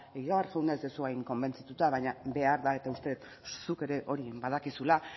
hain konbentzituta baina behar da eta uste dut zuk ere hori badakizula